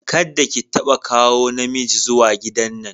Kadda ki tabba kawo na miji zuwa gidan nan!